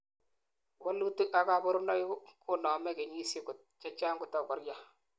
walutik ak kabarunoik konoome kenyisiek chechang kotakokoria